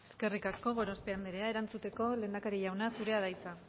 eskerrik asko gorospe anderea erantzuteko lehendakari jauna zurea da hitza